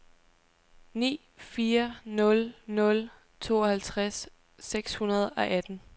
ni fire nul nul tooghalvtreds seks hundrede og atten